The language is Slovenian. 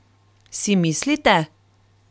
Si mislite?